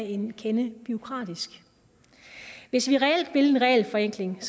en kende bureaukratisk hvis vi reelt vil en regelforenkling